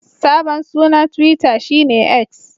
Sabon sunan Twita shi ne X.